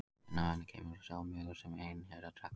En af henni kemur sá mjöður sem einherjar drekka.